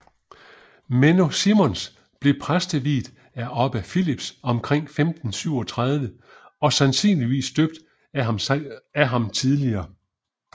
Menno Simons blev præsteviet af Obbe Philips omkring 1537 og sandsynligvis døbt af ham tidligere